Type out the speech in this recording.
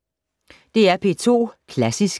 DR P2 Klassisk